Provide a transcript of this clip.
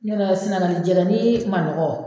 Ɲɔnɔ sinangali jɛgɛni ma nɔgɔ